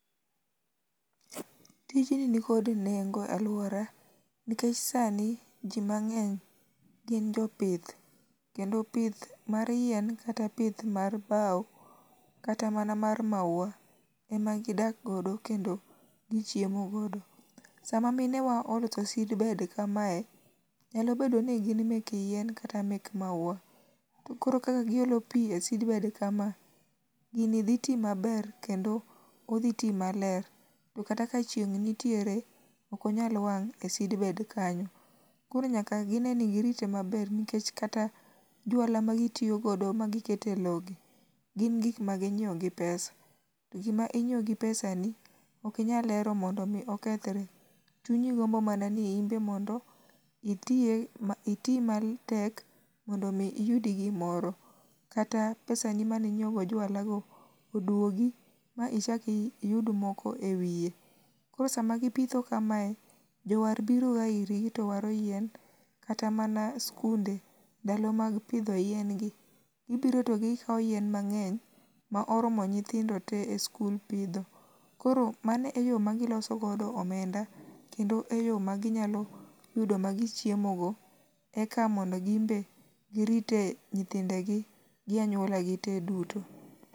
Tijni nikod nengo e aluora nikech sani ji mang'eny gin jopith kendo pith mar yien kata pith mar bao kata mana mar maua emagidak godo kendo gichiemo godo. Sama minewa olos seedbed kamae, nyalo bedo kata ni gin mek yien kata mek maua, to koro kaka giolo pi e seedbed kama, gini dhi ti maber kendo dhi ti maler. To kata ka chieng' nitiere ok nyal wang' e seedbed kanyo koro nyaka gine ni girite maber nikech kata juala magitiyo godo magi kete lowo gi gin gik maginyiewo gi pesa to gima inyiewo gi pesani ok inyal hero monfo mi okethre, chunyi gmbo man ani in be mondo iti matek mondo mi iyud gimoro. Kata pesani mane inyiewo go jualago, oduogi ma ichak iyud moko ewiye. Koro sama gipitho kamae, jowar biroga irgi to waro yien, kata mana sikunde ndalo mag pidho yien gi, gibiro to gikawo yien mang'eny ma oromo nyithindo te e sikul pidho. Koro mano e yo magiloso godo omenda kendo eyo maginyalo yudo magichiemo go eka mondo gin be girite nyithindegi gi anyuola gite duto.